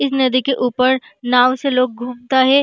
इस नदी के ऊपर नाव से लोग घूमता है।